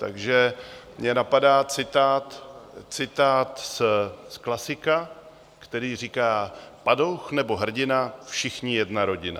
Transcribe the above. Takže mě napadá citát z klasika, který říká: Padouch nebo hrdina, všichni jedna rodina.